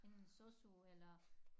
Enten sosu eller